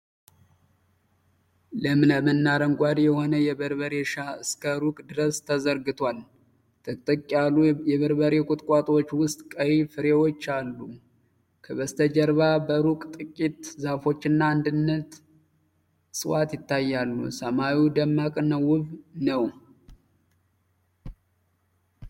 ለምለምና አረንጓዴ የሆነ የበርበሬ እርሻ እስከ ሩቅ ድረስ ተዘርግቷል። ጥቅጥቅ ያሉ የበርበሬ ቁጥቋጦዎች ዉስጥ ቀይ ፍሬዎች አሉ። ከበስተጀርባ በሩቅ ጥቂት ዛፎችና አንዳንድ እፅዋት ይታያሉ። ሰማዩ ደማቅና ውብ ነው።